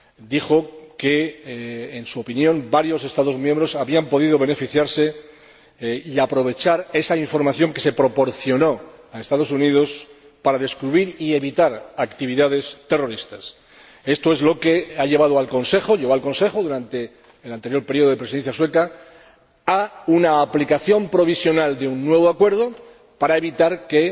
Dijo que, en su opinión, varios Estados miembros habían podido beneficiarse y aprovecharon esa información que se proporcionó a los Estados Unidos para descubrir y evitar actividades terroristas. Esto llevó al Consejo, durante el anterior periodo de Presidencia sueca, a una aplicación provisional de un nuevo acuerdo, para evitar que